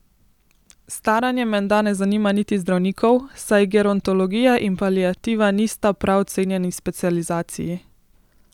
Staranje menda ne zanima niti zdravnikov, saj gerontologija in paliativa nista prav cenjeni specializaciji.